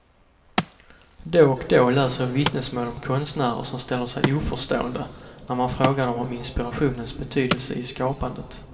Då och då läser jag vittnesmål om konstnärer som ställer sig oförstående när man frågar dom om inspirationens betydelse i skapandet.